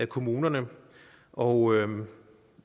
kommunerne og